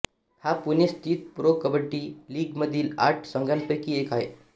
हा पुणे स्थित pro kabaddi league मधील आठ संघांपैकी एक आहे